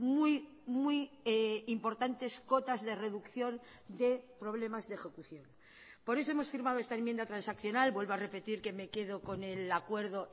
muy muy importantes cotas de reducción de problemas de ejecución por eso hemos firmado esta enmienda transaccional vuelvo a repetir que me quedo con el acuerdo